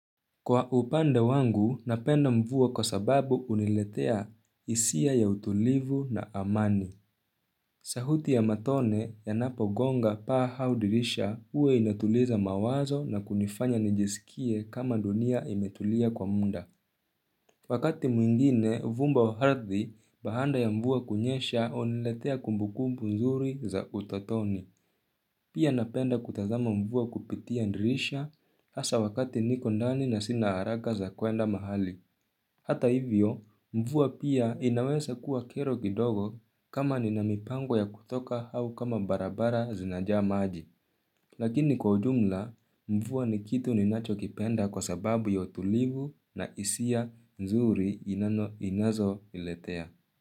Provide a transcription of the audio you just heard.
Kwa upande wangu, napenda mvuwa kwa sababu uniletea isia ya utulivu na amani. Sahuti ya matone yanapo gonga pa haudirisha uwe inatuliza mawazo na kunifanya nijiskie kama dunia imetulia kwa muda. Wakati mwingine, vumba wa arthi baada ya mvuwa kunyesha uniletea kumbukumbu nzuri za utotoni. Pia napenda kutazama mvua kupitia ndirisha hasa wakati nikondani na sina haraka za kwenda mahali. Hata hivyo, mvua pia inawensa kuwa kiro kidogo kama ninamipango ya kutoka hau kama barabara zinaja maji. Lakini kwa jumla, mvua ni kitu ninacho kipenda kwa sababu ya utulivu na isia nzuri inazo iletea.